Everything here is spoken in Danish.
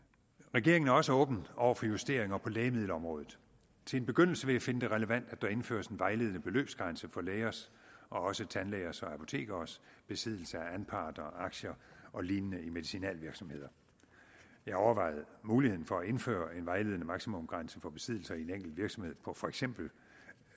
regeringen er også åben over for justeringer på lægemiddelområdet til en begyndelse vil jeg finde det relevant at der indføres en vejledende beløbsgrænse for lægers og også tandlægers og apotekeres besiddelse af anparter og aktier og lignende i medicinalvirksomheder jeg overvejede muligheden for at indføre en vejledende maksimumsgrænse for besiddelser i en enkelt virksomhed på for eksempel